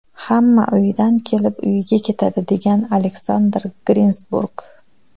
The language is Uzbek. Hamma uyidan kelib, uyiga ketadi”, degan Aleksandr Grinsburg.